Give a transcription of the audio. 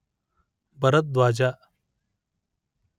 Bharadwaja